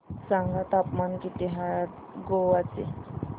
सांगा तापमान किती आहे आज गोवा चे